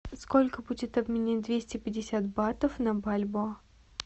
сколько будет обменять двести пятьдесят батов на бальбоа